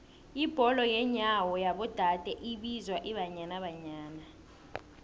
ibholo yenyawo yabo dade ibizwa ibanyana banyana